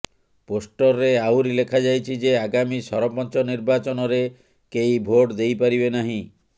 ପୋଷ୍ଟରରେ ଆହୁରି ଲେଖାଯାଇଛି ଯେ ଆଗାମୀ ସରପଞ୍ଚ ନିର୍ବାଚନରେ କେହି ଭୋଟ ଦେଇପାରିବେ ନାହିଁ